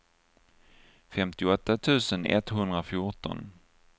femtioåtta tusen etthundrafjorton